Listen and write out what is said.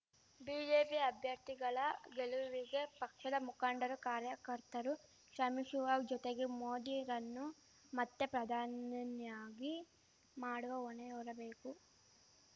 BJP ಅಭ್ಯರ್ಥಿಗಳ ಗೆಲುವಿಗೆ ಪಕ್ಷದ ಮುಖಂಡರು ಕಾರ್ಯಕರ್ತರು ಶ್ರಮಿಶುವ ಜೊತೆಗೆ ಮೋದಿರನ್ನು ಮತ್ತೆ ಪ್ರಧಾನಿನಿನ್ಯಾಗಿ ಮಾಡುವ ಹೊಣೆ ಹೊರಬೇಕು